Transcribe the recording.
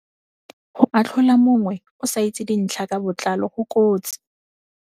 Go atlhola mongwe o sa itse dintlha ka botlalo go kotsi.